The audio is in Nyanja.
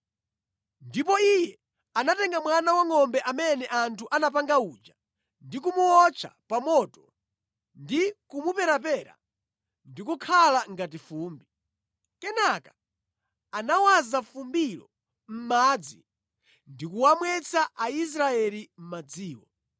Ndipo iye anatenga mwana wangʼombe amene anthu anapanga uja ndi kumuwotcha pa moto ndi kumuperapera ndikukhala ngati fumbi. Kenaka anawaza fumbilo mʼmadzi ndi kuwamwetsa Aisraeli madziwo.